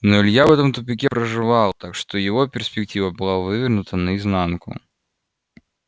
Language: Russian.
но илья в этом тупике проживал так что его перспектива была вывернута наизнанку